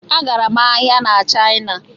M gara ahịa na Shina